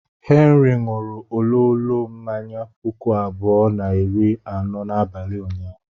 Henry ṅụrụ ololo mmanya puku abụọ na iri anọ n'abalị ụnyaahụ.